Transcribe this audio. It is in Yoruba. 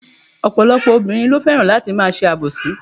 Ọ̀pọ̀lọpọ̀ obìnrin lo fẹ́ràn láti ma se àbòsí